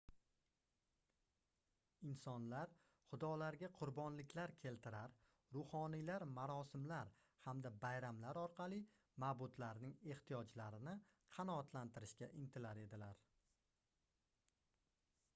insonlar xudolarga qurbonliklar keltirar ruhoniylar marosimlar hamda bayramlar orqali mabudlarning ehtiyojlarini qanotlantirishga intilar edilar